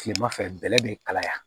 Kilema fɛ bɛlɛ be kalaya